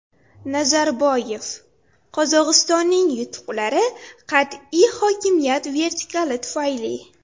Nazarboyev: Qozog‘istonning yutuqlari qat’iy hokimiyat vertikali tufayli.